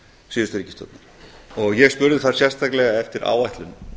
síðustu ríkisstjórnar og ég spurði þar sérstaklega eftir áætlun